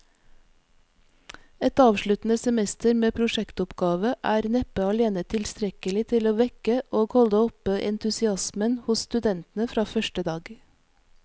Et avsluttende semester med prosjektoppgave er neppe alene tilstrekkelig til å vekke og holde oppe entusiasmen hos studentene fra første dag.